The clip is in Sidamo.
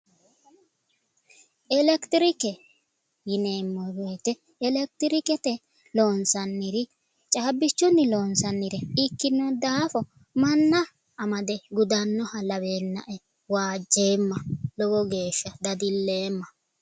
Elekitirike yineemmo woyiite, elekitirikete loonsannire, caabbichunni loonsannire ikkino daafo manna amade gudannoha laweennae waajjeemma lowo geeshsha dadilleemma.